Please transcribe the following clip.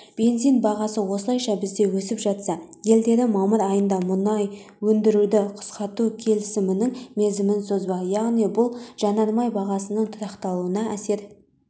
бензин бағасы осылайша бізде өсіп жатса елдері мамыр айында мұнай өндіруді қысқарту келісімінің мерзімін созбақ яғни бұл жанармай бағасының тұрақтануына әсер